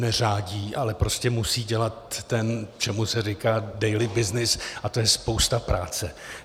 Neřádí, ale prostě musí dělat to, čemu se říká daily business, a to je spousta práce.